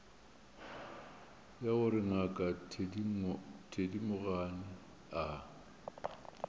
ya gore ngaka thedimogane a